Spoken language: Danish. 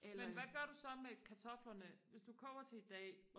men hvad gør du så med kartoflerne hvis du koger til i dag